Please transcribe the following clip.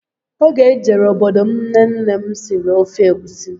Oge m jere obodo m nnenne m siri ofe egwusi